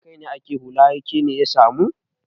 Don kai ake hulla har kene ya samu.